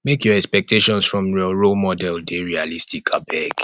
make your expectations from your role model dey realistic abeg